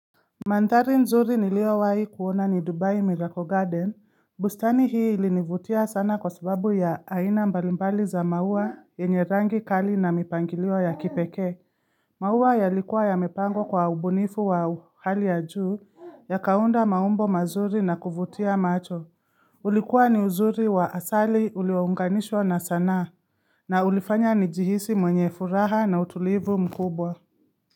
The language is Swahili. Mandhari nzuri nilio wahi kuona ni Dubai Miracle Garden, bustani hii ilinivutia sana kwa sababu ya aina mbalimbali za maua yenye rangi kali na mipangilio ya kipekee. Maua yalikuwa yamepangwa kwa ubunifu wa hali ya juu yakaunda maumbo mazuri na kuvutia macho. Ulikuwa ni uzuri wa asali uliounganishwa na sanaa. Na ulifanya nijihisi mwenye furaha na utulivu mkubwa.